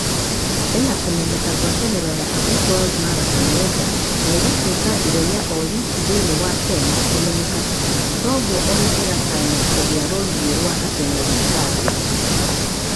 Ĩnakũmenyeka gũataniro ya Abbott World Marathon Major na ĩgitueka ihenya o riki thĩni wa kenya kũmenyekana toguo ona ĩgetanya kũgia rũrii rwa atengeri a thii